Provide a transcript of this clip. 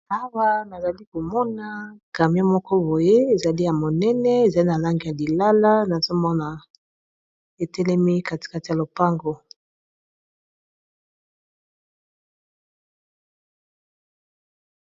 Awa nazali komona camion moko boye ezali ya monene ezali na langi ya lilala nazomona etelemi katikati ya lopango.